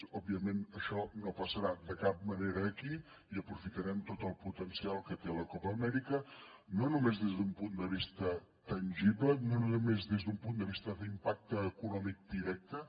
òbviament això no passarà de cap manera aquí i aprofitarem tot el potencial que té la copa amèrica no només des d’un punt de vista tangible no només des d’un punt de vista d’impacte econòmic directe